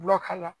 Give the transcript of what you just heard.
Gulɔ k'a la